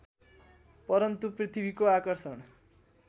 परन्तु पृथ्वीको आकर्षण